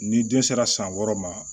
Ni den sera san wɔɔrɔ ma